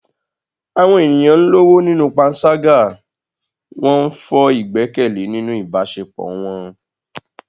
Àwọn ènìyàn ń lọ́wọ́ nínú panṣágà, wọ́n ń fọ́ ìgbẹ́kẹ̀lé nínú ìbáṣepọ̀ wọn.